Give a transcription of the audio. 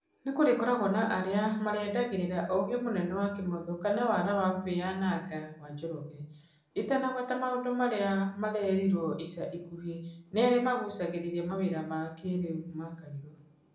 Nĩ kũrĩkoragwo na arĩa marĩendagĩrĩra ũgĩ mũnene wa Kĩmotho kana wara wa kwĩyananga wa Njoroge, itanagweta maũndu marĩa mareriruo ica ikuhĩ nĩ arĩa magucagĩrĩria mawĩra ma kĩrĩũ ma Kairũ.